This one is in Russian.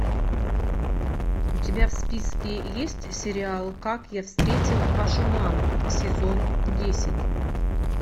у тебя в списке есть сериал как я встретил вашу маму сезон десять